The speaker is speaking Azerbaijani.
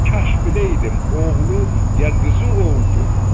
Kaş biləydim oğlu ya qızı oldu.